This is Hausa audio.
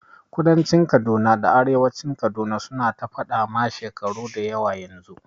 Kudancin Kaduna da arewacin Kaduna su na ta faɗa ma shekaru dayawa yanzu